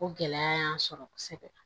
O gɛlɛya y'an sɔrɔ kosɛbɛ